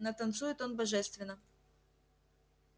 но танцует он божественно